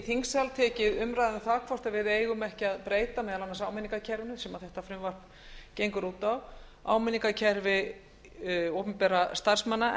þingsal tekið umræðu um það hvort við eigum ekki að breyta meðal annars áminningakerfi sem þetta frumvarp gengur út á áminningakerfi opinberra starfsmanna